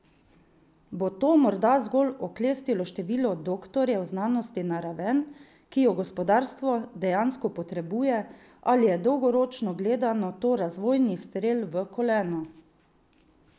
Bo to morda zgolj oklestilo število doktorjev znanosti na raven, ki jo gospodarstvo dejansko potrebuje, ali je dolgoročno gledano to razvojni strel v koleno?